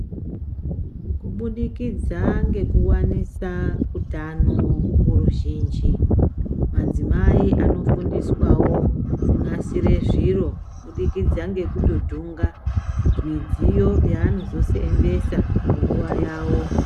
Kubudikidza ngekuwanisa utano kuruzhinji, madzimai anofundiswawo kunasira zviro kuburikidza ngekutodhunga midziyo yavanozoseenzesa panguwa yawo.